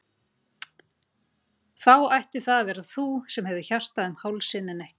Þá ætti það að vera þú sem hefur hjartað um hálsinn en ekki ég.